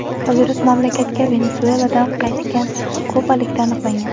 Virus mamlakatga Venesueladan qaytgan kubalikda aniqlangan.